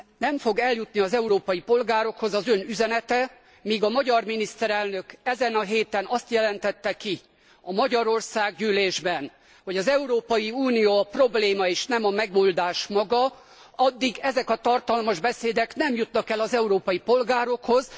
Nem fog eljutni az európai polgárokhoz az Ön üzenete, míg a magyar miniszterelnök ezen a héten azt jelenti ki a Magyar Országgyűlésben, hogy az Európai Unió a probléma és nem a megoldás maga, addig ezek a tartalmas beszédek nem jutnak el az európai polgárokhoz.